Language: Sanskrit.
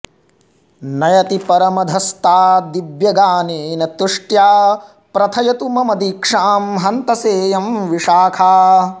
नयति परमधस्ताद्दिव्यगानेन तुष्ट्या प्रथयतु मम दीक्षां हन्त सेयं विशाखा